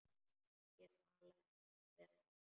Ég talaði ekkert við hann.